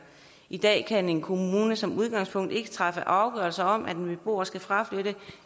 i dag kan en kommune som udgangspunkt ikke træffe afgørelse om at en beboer skal fraflytte